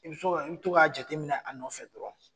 I bi to ka jateminɛ a nɔfɛ dɔrɔn .